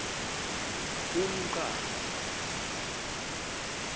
umqangu